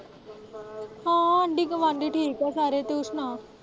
ਹਾਂ ਆਂਢੀ-ਗੁਆਂਢੀ ਠੀਕ ਏ ਸਾਰੇ ਤੂੰ ਸੁਣਾ।